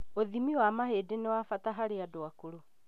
ũthimi wa mahĩndĩ nĩ wa bata harĩ andũ akũrũ